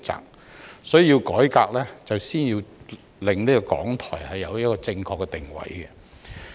因此，要作出改革須先令港台確立正確的定位。